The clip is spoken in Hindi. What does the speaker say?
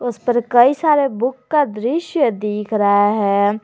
उस पर कई सारे बुक का दृश्य दिख रहा है।